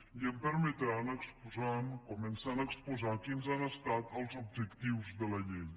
i em permetran començar exposant quins han estat els objectius de la llei